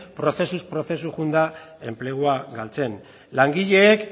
prozesuz prozesu joan da enplegua galtzen langileek